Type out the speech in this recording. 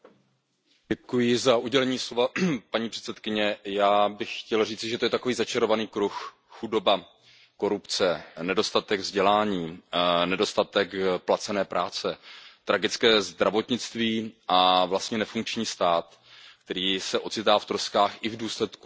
Paní předsedající, já bych chtěl říci, že to je takový začarovaný kruh, chudoba, korupce, nedostatek vzdělání, nedostatek placené práce, tragické zdravotnictví a vlastně nefunkční stát, který se ocitá v troskách i v důsledku několikanásobných přírodních katastrof.